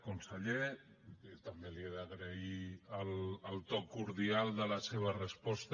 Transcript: conseller també li he d’agrair el to cordial de la seva resposta